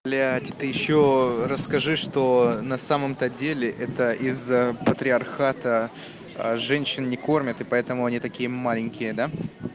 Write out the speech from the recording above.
блядь ты ещё расскажи что на самом-то деле это из-за патриархата женщин не кормят и поэтому они такие маленькие да